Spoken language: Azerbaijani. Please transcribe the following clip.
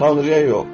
Tanrıya yox.